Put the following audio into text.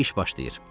İş başlayır.